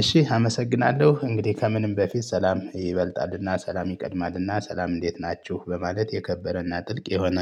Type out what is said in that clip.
እሺ አመሰግናለሁ እንግዲህ ከምንም በፊት ሰላም ይበልጣልና ሰላም ይቀድማልና ሰላም እንዴት ናችሁ በማለት የከበረና ጥልቅ የሆነ